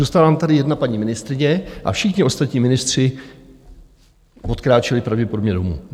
Zůstala vám tady jedna paní ministryně a všichni ostatní ministři odkráčeli pravděpodobně domů.